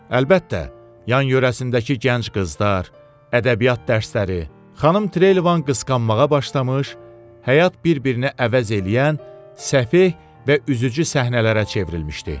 Əlbəttə, yan-yörəsindəki gənc qızlar, ədəbiyyat dərsləri, xanım Trevelyan qısqanmağa başlamış, həyat bir-birini əvəz eləyən səfeh və üzücü səhnələrə çevrilmişdi.